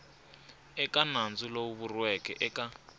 eka nandzu lowu vuriweke eka